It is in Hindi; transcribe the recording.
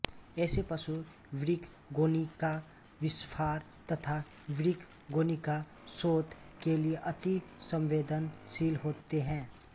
ऐसे पशु वृक्कगोणिकाविस्फार तथा वृक्कगोणिका शोथ के लिए अति संवेदनशील होते हैं